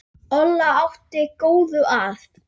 Olla átti góða að.